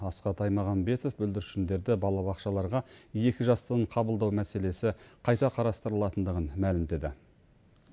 асхат аймағамбетов бүлдіршіндерді балабақшаларға екі жастан қабылдау мәселесі қайта қарастырылатындығын мәлімдеді